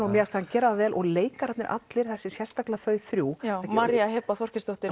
mér fannst hann gera það vel og leikararnir allir sérstaklega þau þrjú María Heba Þorgeirsdóttir